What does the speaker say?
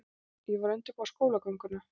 Ég var að undirbúa skólagönguna.